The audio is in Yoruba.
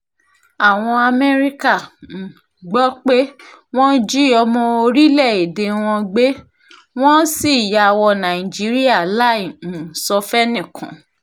àwọn amẹ́ríkà um gbọ́ pé wọ́n jí ọmọ orílẹ̀-èdè wọn gbé wọ́n sì yà wò nàìjíríà láì um sọ fẹ́nìkan